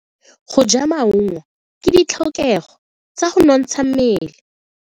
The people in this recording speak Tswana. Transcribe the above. Go ja maungo ke ditlhokego tsa go nontsha mmele.